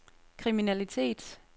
kriminalitet